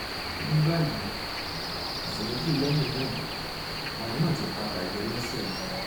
ní báyìí ọ̀sẹ̀ méjì lẹ́yìn náà ààrùn náà ti padà yọ lẹ́sẹ̀ mi